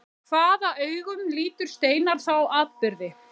Hvaða augum lítur Steinar þá atburði?